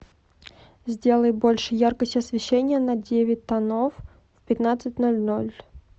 сделай больше яркость освещения на девять тонов в пятнадцать ноль ноль